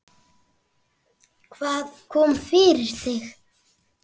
Hvað kom fyrir þig?